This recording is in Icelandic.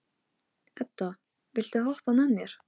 Edda, viltu hoppa með mér?